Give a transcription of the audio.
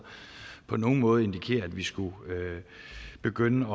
på nogen måde indikerer at vi skulle begynde